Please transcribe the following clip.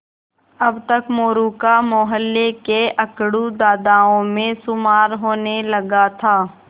अब तक मोरू का मौहल्ले के अकड़ू दादाओं में शुमार होने लगा था